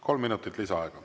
Kolm minutit lisaaega.